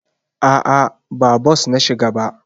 A'a, ba bos na shiga ba.